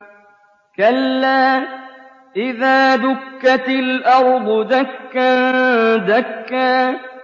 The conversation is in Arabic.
كَلَّا إِذَا دُكَّتِ الْأَرْضُ دَكًّا دَكًّا